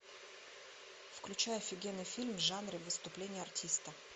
включай офигенный фильм в жанре выступление артиста